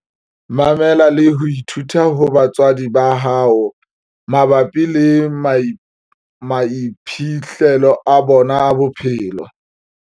Mamela le ho ithuta ho batswadi ba hao mabapi le maiphihlelo a bona a bophelo.